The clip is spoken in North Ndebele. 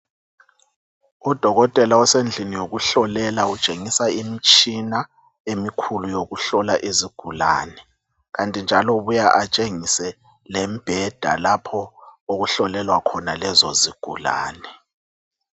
Udokotela osendlini yokuhlolela utshengisa imitshina emikhul ueyokuhlola izigulane. Kanti njalo ubuya atshengise lembheda lapho okuhlolelwa lezo izigulane.